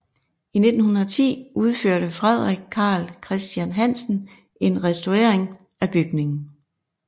I 1910 udførte Frederik Carl Christian Hansen en restaurering af bygningen